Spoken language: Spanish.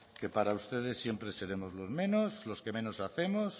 que para ustedes siempre seremos los menos los que menos hacemos